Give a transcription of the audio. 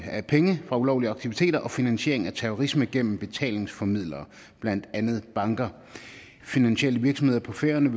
af penge fra ulovlige aktiviteter og finansiering af terrorisme gennem betalingsformidlere blandt andet banker finansielle virksomheder på færøerne